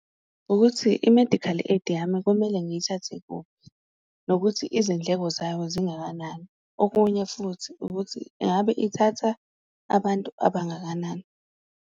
Ukuthi i-medical aid yami kumele ngiyithathe kuphi nokuthi izindleko zayo zingakanani, okunye futhi ukuthi engabe ithatha abantu abangakanani.